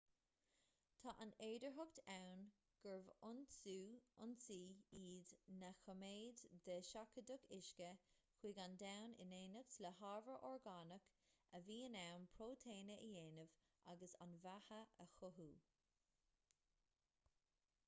tá an fhéidearthacht ann gurbh fhoinsí iad na cóiméid de sheachadadh uisce chuig an domhan in éineacht le hábhar orgánach a bhí in ann próitéine a dhéanamh agus an bheatha a chothú